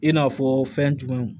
I n'a fɔ fɛn jumɛnw